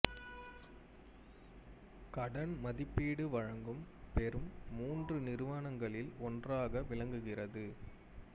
கடன் மதிப்பீடு வழங்கும் பெரும் மூன்று நிறுவனங்களில் ஒன்றாக விளங்குகிறது